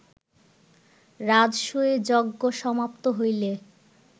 রাজসূয় যজ্ঞ সমাপ্ত হইলে